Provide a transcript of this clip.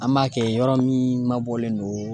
An b'a kɛ yɔrɔ min mabɔlen don